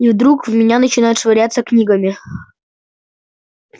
и вдруг в меня начинают швыряться книгами